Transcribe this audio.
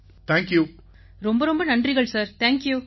அனைவரும் ரொம்ப ரொம்ப நன்றிகள் சார் தேங்க்யூ